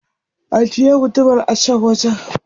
Ajiye gudumar a can wajen.